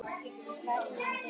HVERJUM DEGI!